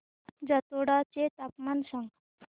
जातोडा चे तापमान सांग